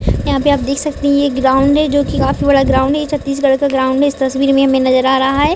यहाँ पे आप देख सकती है ये ग्राउंड है जो कि काफी बड़ा ग्राउंड है ये छत्तीसगढ़ का ग्राउंड है इस तस्वीर में हमें नजर आ रहा है।